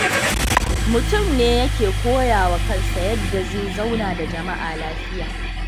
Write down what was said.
Mutum ne yake koya wa kansa yadda zai zauna da jama'a lafiya.